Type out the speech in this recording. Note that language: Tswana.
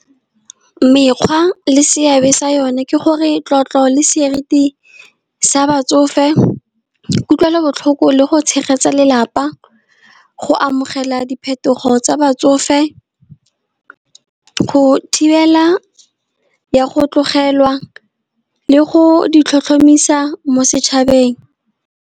Mekgwa le seabe sa yone ke gore tlotlo le seriti sa batsofe, kutlwelobotlhoko le go tshegetsa lelapa. Go amogela diphetogo tsa batsofe, go thibela ya go tlogelwa le go di tlhotlhomisa mo setšhabeng.